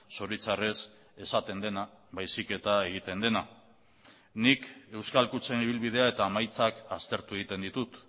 zoritxarrez esaten dena baizik eta egiten dena nik euskal kutxen ibilbidea eta emaitzak aztertu egiten ditut